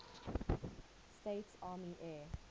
states army air